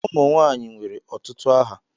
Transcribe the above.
Ụmụ nwanyị nwere ọtụtụ aha.